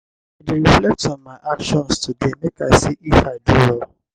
i dey reflect on my actions today make i see if i do well.